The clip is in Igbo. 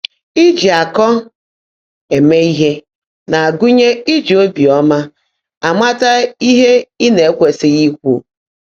Íjí ákọ́ émé íhe ná-ágụ́nyè íjí óbíọ́mã ámátá íhe ị́ ná-èkwèsị́ghị́ íkwú.